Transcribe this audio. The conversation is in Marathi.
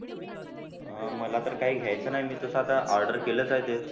अह मला तर काही घ्यायचं नाही. मी तसा आता order केलंच आहे ते.